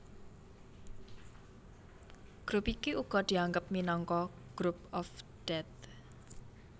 Grup iki uga dianggep minangka Group of Death